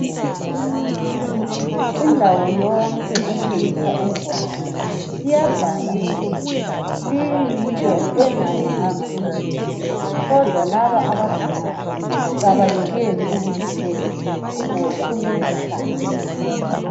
Indawo yonke ethengisa ugwayi, iyabhala ukuthi liyinto engalunganga emzimbeni, kodwa laba ababhemayo abayekeli ukulithenga ngoba belithanda.